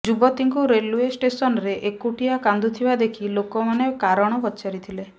ଯୁବତୀଙ୍କୁ ରେଲଓ୍ବେ ଷ୍ଟେସନରେ ଏକୁଟିଆ କାନ୍ଦୁଥିବା ଦେଖି ଲୋକମାନେ କାରଣ ପଚାରିଥିଲେ